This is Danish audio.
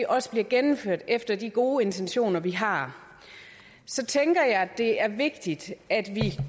også bliver gennemført efter de gode intentioner vi har så tænker jeg det er vigtigt at vi